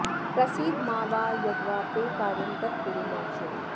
प्रसीद मा वा यद्वा ते कार्यं तत्कुरु मा चिरम्